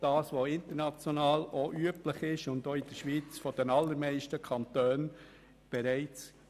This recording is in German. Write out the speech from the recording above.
Dieser ist international und auch in den allermeisten Kantonen üblich.